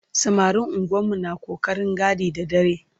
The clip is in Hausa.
Samarin unguwannu na ƙoƙarin gadi da dare.